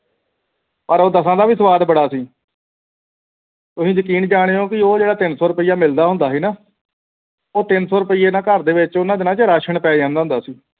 ਪਰ ਉਹ ਦੱਸਹਾਂ ਦਾ ਵੀ ਸਵਾਦ ਬੜਾ ਸੀ ਤੁਸੀਂ ਯਕੀਨ ਜਾਣਿਉ ਪੀ ਉਹ ਜੁੜੇ ਤਿੰਨ ਸੌ ਰੁਪਈਆ ਮਿਲਦਾ ਹੁੰਦਾ ਸੀ ਗ ਨਾ ਉਸ ਤਿੰਨ ਸੌ ਰੁਪਈਆ ਦੇਰ ਨਾਲ ਘਰ ਦੇ ਵਿਚ ਉਨ੍ਹਾਂ ਦਿਨਾਂ ਵਿਚ ration ਪੈ ਜਾਂਦਾ ਹੁੰਦਾ ਸੀ